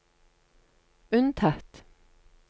unntatt